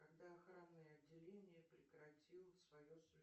когда охранное отделение прекратило свое